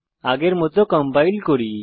আগের মত কম্পাইল করি